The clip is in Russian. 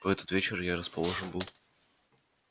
в этот вечер я расположен был